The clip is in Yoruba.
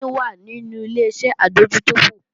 Mò ní wà nínú Ileṣẹ́ adójútòfò